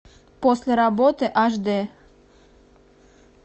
после работы аш дэ